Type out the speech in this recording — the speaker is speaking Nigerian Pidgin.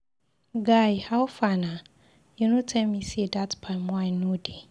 Guy howfar na, you no tell me say that palm wine no dey.